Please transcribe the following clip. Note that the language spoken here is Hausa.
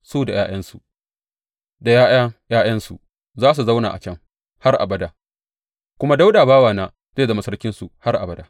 Su da ’ya’yansu da ’ya’ya ’ya’yansu za su zauna a can har abada, kuma Dawuda bawana zai zama sarkinsu har abada.